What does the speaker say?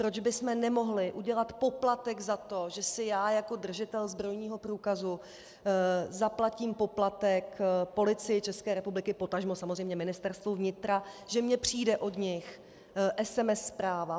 Proč bychom nemohli udělat poplatek na to, že si já jako držitel zbrojního průkazu zaplatím poplatek Policii České republiky, potažmo samozřejmě Ministerstvu vnitra, že mně přijde od nich SMS zpráva?